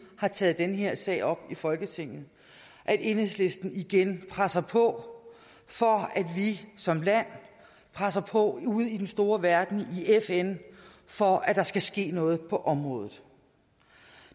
har taget den her sag op i folketinget at enhedslisten igen presser på for at vi som land presser på ude i den store verden i fn for at der skal ske noget på området